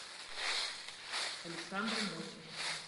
александр мосин